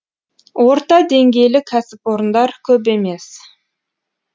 орта деңгейлі кәсіпорындар көп емес